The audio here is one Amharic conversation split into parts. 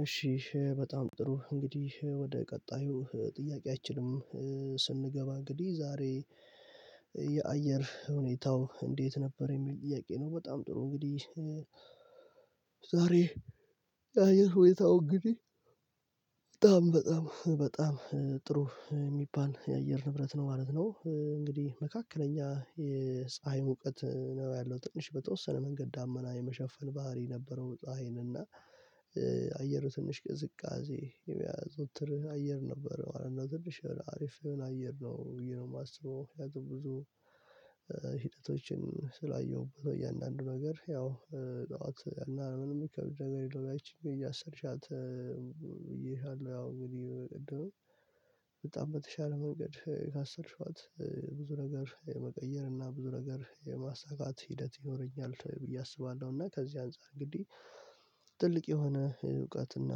እሺ በጣም ጥሩ እንግዲህ ወደ ቀጣዩ ጥያቄያችን ስን ስንገባ እንግዲህ ዛሬ የአየር ሁኔታው እንዴት ነበር የሚል ጥያቄ ነው? በጣም ጥሩ እንግዲህ ዛሬ የአየር ሁኔታው እንግዲህ በጣም በጣም በጣም ጥሩ የሚባል የአየር ንብረት ነው ማለት ነው እንግዲህ መካከለኛ የፀሀይ ሙቀት ነው ያለው ትንሽ በተወሰነ መንገድ ዳመና የመሸፈን ባህሪ ነበረው። ፀሀይን እና አየሩ ትንሽ ቅዝቃዜ የሚያዘውትር አየር ነበር ማለት ነው። ትንሽ አሪፍ አየር ነው ብየነው የማስበው ያው ብዙ ሂደቶችን ስላየሁበት ነው። እያንዳንዱ ነገር ያው ጠዋት አና ምንም የሚከብድ ነገር የለውም ያቺን እያሰርሻት ብየሃለሁ። ያው እንግዲህ በጣም በተሻለ መንገድ ካሰልሽዋት ብዙ ነገር የመቀየር እና ብዙ ነገር የማሳካት ሂደት ይኖረኛል ብዬ አስባለሁ። እና ከዚህ አንፃር እንግዲህ ትልቅ የሆነ እውቀትና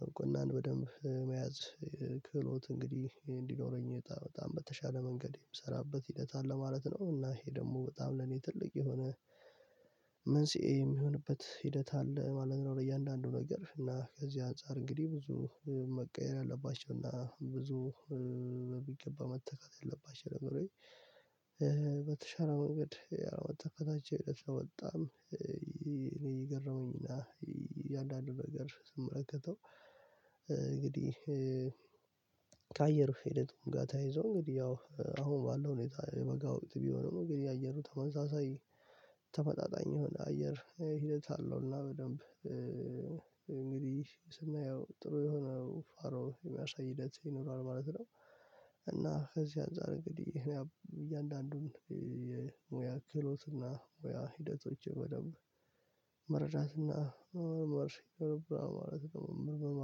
ዕውቅና በደንብ መያዝ ክህሎት እንግዲህ እንዲኖረኝ በጣም በተሻለ መንገድ የምሰራበት ሂደት አለ ማለት ነው። እና ይሄ ደግሞ በጣም ለኔ ትልቅ የሆነ መንስኤ የሚሆንበት ሂደት አለ ማለት ነው። ለእያንዳንዱ ነገር እና ከዚህ አንፃር እንግዲህ ብዙ መቀየር ያለባቸው እና ብዙ በሚገባ መተካት ያለባቸው ደግሞ በተሻለ መንገድ ተካታች አይነት ነው። በጣም እኔ የገረሙኝና እያንዳንዱ ነገር ስመለከተው እንግዲህ ከአየር ሄደት ጋር ተይዞ እንግዲህ ያው አሁን ባለው ሁኔታ የበጋ ውቅት ቢሆንም እንግዲህ የአየሩ ተመሳሳይ ተመጣጣኝ የሆነ አየር ሂደት አለው እና በደንብ እንግዲህ ስናየው ጥሩ የሆነው ፋሮ የሚያሳይ ሂደት ይኖራል ማለት ነው። እና ከዚህ አንፃር እንግዲህ እኔ እያንዳንዱን የሙያ ክህሎት እና ወይ ሂደቶችን በደንብ መረዳትና መርሽ ከገባህ ማለት ነው መርመም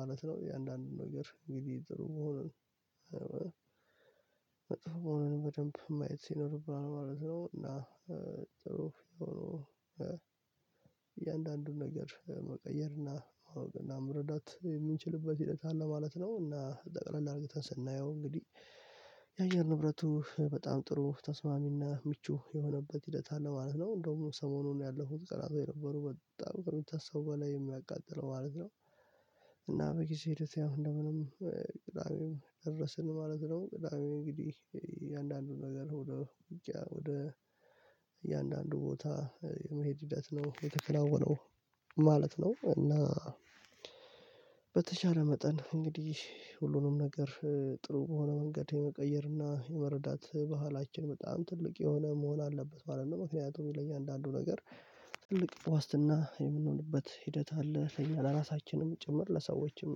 ማለት ነው። የእያንዳንዱን ነገር እንግዲህ ጥሩ መሆኑን መጥፎ መሆኑን በደንብ ማየት ይኖርብናል ማለት ነው። እና ጥሩ የሆነው እያንዳንዱን ነገር መቀየርና ማወቅና መረዳት የምንችልበት ሂደት አለ ማለት ነው። እና ጠቅላል አርግተን ስናየው እንግዲህ የአየር ንብረቱ በጣም ጥሩ ተስማሚና ምቹ የሆነበት ሂደት አለ ማለት ነው። እንደውም ሰሞኑን ያለፉት ቀናቶች የነበሩ በጣም ከሚታሰቡ በላይ የሚያቃጥለው ማለት ነው። እና በጊዜ ሂደት ያው እንደምንም ቅዳሜም ደረስን ማለት ነው። ቅዳሜ እንግዲህ አንዳንዱን ነገር ወደ ወጭ ወደ እያንዳንዱ ቦታ የመሄድ ሂደት ነው የተከናወነው። ነው እና በተቻለ መጠን እንግዲህ ሁሉንም ነገር ጥሩ በሆነ መንገድ የመቀየርና የመረዳት ባህላችን በጣም ትልቅ የሆነ መሆን አለበት ማለት ነው። ምክንያቱ ለአያንዳንዱ ነገር ትልቅ ዋስትና የምንሆንበት ሂደት አለ ለራሳችንም ጭምር ለሰዎችም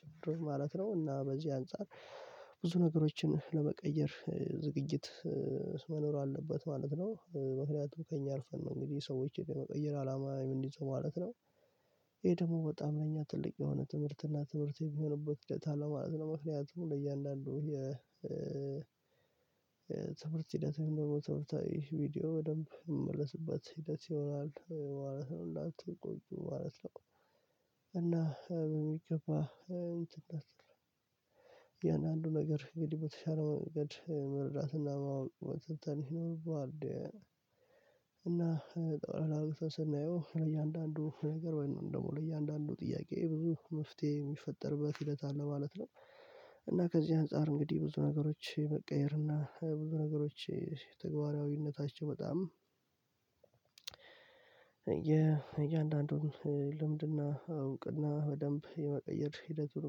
ጭምር ማለት ነው። እና በዚህ አንፃር ብዙ ነገሮችን ለመቀየር ዝግጅት መኖር አለበት ማለት ነው። ምክንያቱም ከእኛ አልፈን ነው እንግዲህ ሰዎች የመቀየር አላማ እምንይዘው ማለት ነው። ይሄ ደግሞ በጣም ለኛ ትልቅ የሆነ ትምህርት እና ትምህርት የሚሆንበት ሂደት አለው ማለት ነው። ምክንያቱም ለእያንዳንዱ የ ትምህርት ሂደት ደግሞ ትምርታዊ ቪዲዮ በደንብ የሚመለስባት ሂደት ይሆናል ማለት ነው። እንዳትቆጡ ማለት ነው። እና በሚገባ እንትን አትልም አያንዳዱ ነገር እንግዲህ በተሻለ መንገድ መረዳትና መተንተን ይኖርባሃል። እና ጦፍ አብርተን ስናየው ለእያንዳንዱ ነገር ወይም ደግሞ ለእያንዳንዱ ጥያቄ ብዙ መፍትሄ የሚፈጠርበት ሂደት አለ ማለት ነው። እና ከዚህ አንፃር እንግዲህ ነገሮች መቀየር እና ብዙ ነገሮች ተግባራዊነታቸው በጣም የእያንዳንዱን ልምድና አውንቅና በደንብ የመቀየር ሂደት ዙር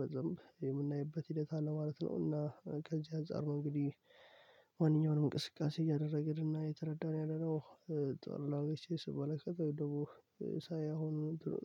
በዘም የምናይበት ሂደት አለ ማለት ነው። እና ከዚህ አጻር ነው እንግዲህ ማንኛውንም እንቅስቃሴ እያደረግን እና የተረዳን ያለነው ቀለል አርግቼ ስመለከተው ወይም ደሞ ሳየው